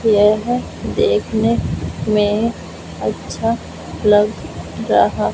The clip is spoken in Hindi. येह देखने में अच्छा लग रहा--